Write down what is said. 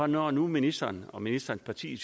når nu ministeren og ministerens parti